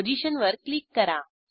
पोझिशनवर क्लिक करा